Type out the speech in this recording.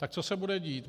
Tak co se bude dít?